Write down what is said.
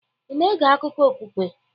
Ị na-ege akụkọ okpukpe?